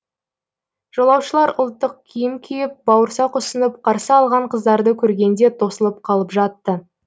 жолаушылар ұлттық киім киіп бауырсақ ұсынып қарсы алған қыздарды көргенде тосылып қалып жатты